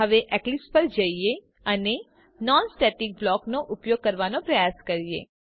હવે એક્લિપ્સ પર જઈએ અને નોન સ્ટેટિક બ્લોક નો ઉપયોગ કરવાનો પ્રયાસ કરીએ